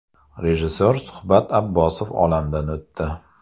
Rejissor Shuhrat Abbosov olamdan o‘tdi .